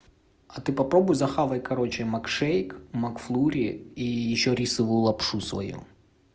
а ты попробуй скушай короче макшейк макфлури и ещё рисовую лапшу свою